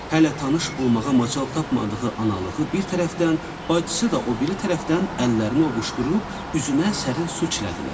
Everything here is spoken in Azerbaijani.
Hələ tanış olmağa macal tapmadığı analığı bir tərəfdən, bacısı da o biri tərəfdən əllərini ovuuşdurub üzünə sərin su çilədilər.